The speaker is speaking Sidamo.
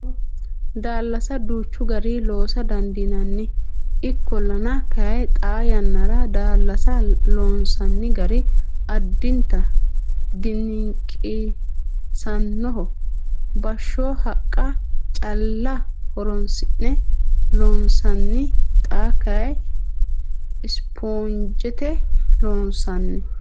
Daallase duuchu garii loosa dandiinanni. Ikkollana kayii xaa yannara daallasa loonsanni gari addinta diniqisannoho. Bashsho haqqa calla horonsi'ne loonsanni xa kayii sponjete loonsanni.